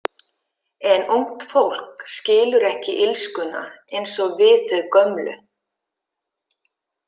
En ungt fólk skilur ekki illskuna eins og við þau gömlu.